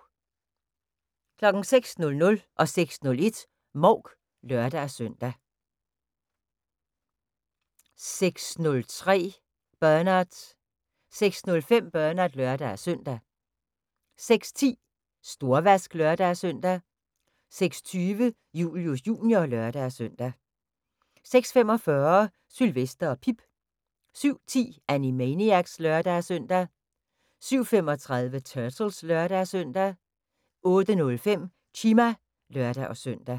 06:00: Mouk (lør-søn) 06:01: Mouk (lør-søn) 06:03: Bernard 06:05: Bernard (lør-søn) 06:10: Storvask (lør-søn) 06:20: Julius Jr. (lør-søn) 06:45: Sylvester og Pip 07:10: Animaniacs (lør-søn) 07:35: Turtles (lør-søn) 08:05: Chima (lør-søn)